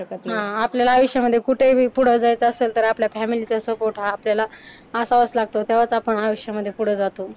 हा, आपल्याला आयुष्यामध्ये कुठेही बी पुढं जायचं असेल तर आपल्या फॅमिलीचा सपोर्ट हा आपल्याला असावाच लागतो तेव्हाच आपण आयुष्यामध्ये पुढं जातो.